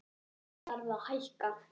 Verð þarf að hækka